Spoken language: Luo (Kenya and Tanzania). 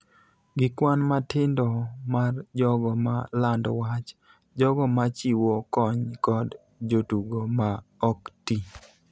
gi kwan matindo mar jogo ma lando wach, jogo ma chiwo kony kod jotugo ma ok ti.